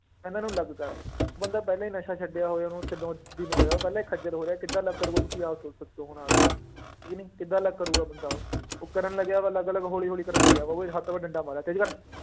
ਇਹਨਾਂ ਨੂੰ ਅਲੱਗ ਕਰ ਬੰਦਾ ਪਹਿਲਾਂ ਹੀ ਨਸ਼ਾ ਛੱਡਿਆ ਹੋਏ, ਉਹਨੂੰ ਤਿੰਨੋ ਦਿਨ ਹੋਏ ਆ ਉਹ ਪਹਿਲਾਂ ਹੀ ਖੱਝਲ ਹੋ ਰਿਹਾ ਕਿੱਦਾਂ ਅਲੱਗ ਕਰੇਗਾ ਤੁਸੀਂ ਆਪ ਸ~ ਸੋਚੋ ਹੁਣ ਆਹ ਗੱਲ, ਹੈ ਕਿ ਨਹੀਂ ਕਿੱਦਾਂ ਅਲੱਗ ਕਰੇਗਾ ਬੰਦਾ ਉਹ, ਉਹ ਕਰਨ ਲੱਗਿਆ ਵਾ ਅਲੱਗ ਅਲੱਗ ਹੌਲੀ ਹੌਲੀ ਕਰਨ ਲੱਗਿਆ ਵਾ, ਉਹ ਵੀ ਡੰਡਾ ਮਾਰਿਆ ਤੇਜ਼ੀ ਕਰ